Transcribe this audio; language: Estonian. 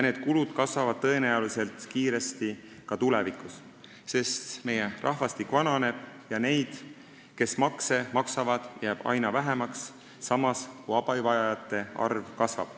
Need kulud kasvavad tõenäoliselt kiiresti ka tulevikus, sest meie rahvastik vananeb ja neid, kes makse maksavad, jääb aina vähemaks, samas kui abivajajate arv kasvab.